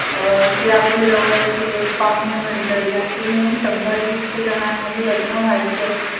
आज त्याला तीस हजार रुपये महिना कमावतोय. मित्रांनो, तो तीस हजार रुपये income त्याचा महिन्याचा तीस हजार रुपये आहे. आत्ता पर्यंत